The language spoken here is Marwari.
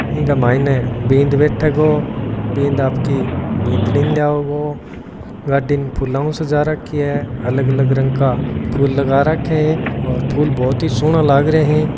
इंग माइन बिन्द बेठे गो बिन्द आपकी बिंदनी ने लावेगों गाढ़ी न फूला ऊ सजा रखी है अलग अलग रंग का फूल लगा रखे है और फूल बहुत ही सुना लाग रा है।